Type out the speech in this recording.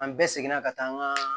An bɛɛ seginna ka taa an ka